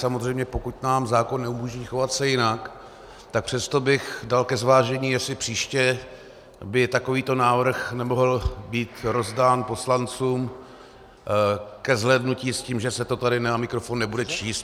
Samozřejmě pokud nám zákon neumožní chovat se jinak, tak přesto bych dal ke zvážení, jestli příště by takovýto návrh nemohl být rozdán poslancům ke zhlédnutí s tím, že se to tady na mikrofon nebude číst.